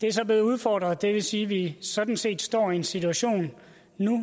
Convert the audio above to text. det er så blevet udfordret det vil sige at vi sådan set står i en situation nu